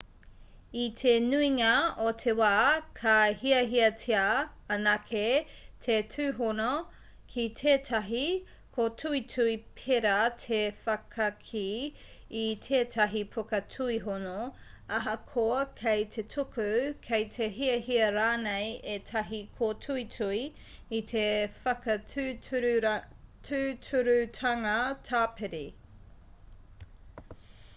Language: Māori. i te nuinga o te wā ka hiahiatia anake te tūhono ki tētahi kōtuitui pērā te whakakī i tētahi puka tuihono ahakoa kei te tuku kei te hiahia rānei ētahi kōtuitui i te whakatūturutanga tāpiri